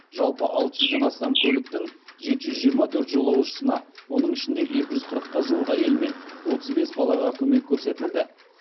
жалпы алты жүзден астам көліктің жеті жүз жиырма төрт жолаушысына оның ішінде екі жүз қырыққа жуық әйел мен отыз бес балаға көмек көрсетілді